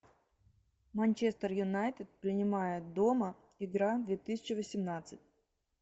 манчестер юнайтед принимает дома игра две тысячи восемнадцать